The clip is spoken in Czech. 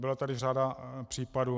Byla tady řada případů.